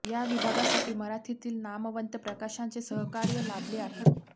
या विभागासाठी मराठीतील नामवंत प्रकाशकांचे सहकार्य लाभले आहे